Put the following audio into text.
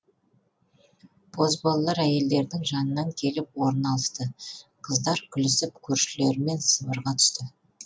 бозбалалар әйелдердің жанынан келіп орын алысты қыздар күлісіп көршілерімен сыбырға түсті